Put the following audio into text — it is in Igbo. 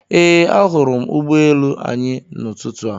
Ee, ahụrụ m ụgbọ elu anyị n'ụtụtụ a